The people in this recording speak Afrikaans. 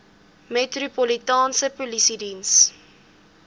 metropolitaanse polisie diens